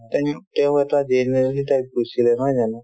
তেওঁ এটা general সেই type গৈছিলে নহয় জানো